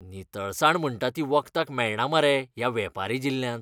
नितळसाण म्हणटा ती वखदाक मेळना मरे ह्या वेपारी जिल्ल्यांत!